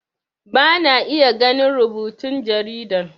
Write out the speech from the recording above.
Bana iya ganin rubutun jaridan